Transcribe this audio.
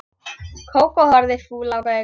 Kókó horfði fúl á Gauk.